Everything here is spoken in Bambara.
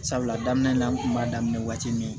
Sabula daminɛ na an kun b'a daminɛ waati min